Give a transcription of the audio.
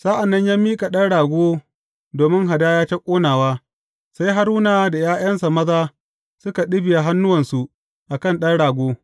Sa’an nan ya miƙa ɗan rago domin hadaya ta ƙonawa, sai Haruna da ’ya’yansa maza suka ɗibiya hannuwansu a kan ɗan rago.